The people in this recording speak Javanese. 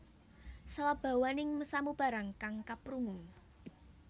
Sabawaning samubarang kang kaprungu